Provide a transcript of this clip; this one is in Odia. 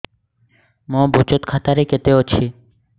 ମୋ ବଚତ ଖାତା ରେ କେତେ ଅଛି